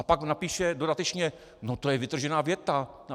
A pak napíše dodatečně - no, to je vytržená věta...